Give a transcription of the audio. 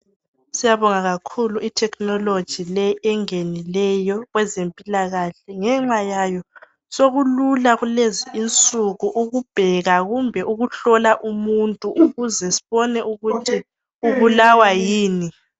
Siyabonga kakhulu itekinoloji le engenileyo kwezempilakahle ,ngenxa yayo sokulula kulezi insuku ukubheka kumbe ukuhlola umuntu .Ukuze sibone ukuthi ubulawa yini.